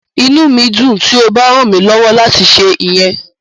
Inu mi yoo dun ti o ba ran mi lọwọ lati ṣe iyẹn.